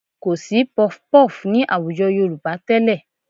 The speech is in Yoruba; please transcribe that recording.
Kò sí puffpuff ní àwùjọ Yorùbá tẹ́lẹ̀